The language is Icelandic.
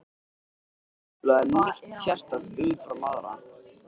Ég hef ekki upplifað neitt sérstakt umfram aðra.